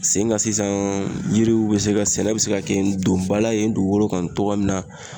Sen kan sisan yiriw be se ka ,sɛnɛ be se ka kɛ don ba la yen dugukolo kan togo min na